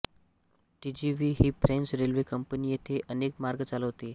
TGV ही French railway company येथे अनेक मार्ग चालवते